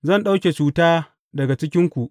Zan ɗauke cuta daga cikinku.